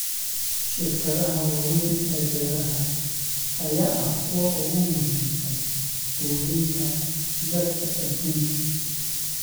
Shirkadaha waaweyn ee beeraha ayaa ah kuwa ugu muhiimsan quudinta dadka adduunka.